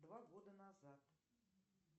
два года назад